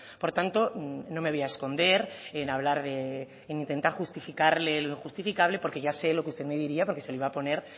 por tanto no me voy a esconder en hablar de en intentar justificarle lo injustificable porque ya sé lo que usted me diría porque se lo iba a poner